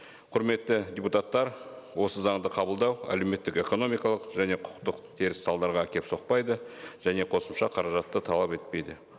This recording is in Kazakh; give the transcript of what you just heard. құрметті депутаттар осы заңды қабылдау әлеуметтік экономикалық және құқықтық теріс салдарға әкеліп соқпайды және қосымша қаражатты талап етпейді